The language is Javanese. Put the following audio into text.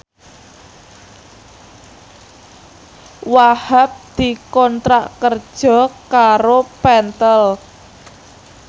Wahhab dikontrak kerja karo Pentel